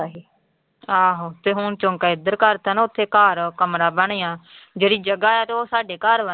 ਆਹੋ ਤੇ ਹੁਣ ਚੌਂਕਾ ਇੱਧਰ ਕਰ ਦਿੱਤਾ ਨਾ ਉੱਥੇ ਘਰ ਕਮਰਾ ਬਣਿਆ ਜਿਹੜੀ ਜਗ੍ਹਾ ਹੈ ਤੇ ਉਹ ਸਾਡੇ ਘਰ ਵਾ ਨਾ।